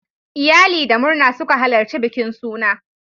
Iyali da murna suka halarci bikin suna.